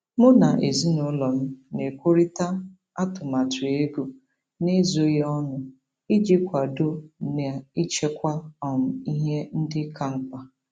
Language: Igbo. Mụ na ezinụlọ m na-ekwurịta atụmatụ ego n'ezoghị ọnụ iji kwadoo n'ichekwa um ihe ndị ka mkpa.